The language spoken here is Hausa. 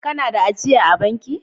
Kana da ajia a'banki?